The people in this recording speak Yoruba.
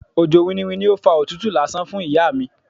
Òjò winniwinni ni ó fa òtútù lásán fún ìyá mi.